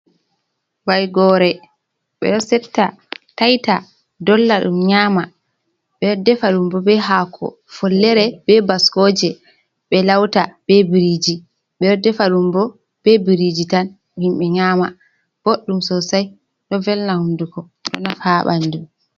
Vaygore. Ɓeɗo setta tayta dolla ɗum nyama ɓe ɗo defa ɗumbo be hako follere be bascoje ɓe lauta be biriji. Ɓe ɗo defa ɗumbo be biriji tan himɓe nyama. Boɗɗum sosai ɗo velna hunduko ɗo nafa ha ɓandu